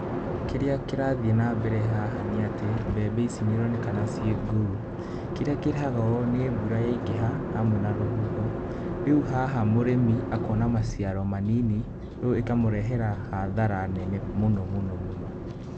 Kĩrĩa kĩrathiĩ na mbere haha nĩ atĩ mbembe ici niĩronekana ciĩ ngũu. Kĩrĩa kĩrehaga ũũ nĩ mbura yaingĩha hamwe na rũhuho. Rĩu haha mũrĩmi akona maciaro manini rĩu ĩkamũrehera hathara nene mũno mũno mũno.